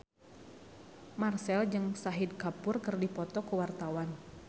Marchell jeung Shahid Kapoor keur dipoto ku wartawan